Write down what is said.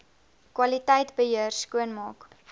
kwaliteit beheer skoonmaak